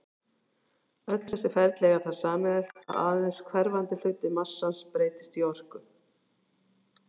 Öll þessi ferli eiga það sameiginlegt að aðeins hverfandi hluti massans breytist í orku.